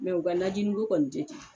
u ka najiniko kɔni tɛ ten